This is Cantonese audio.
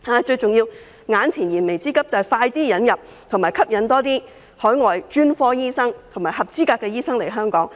最重要是，為解決燃眉之急，要盡快引入和吸引更多海外專科醫生及合資格的醫生來港。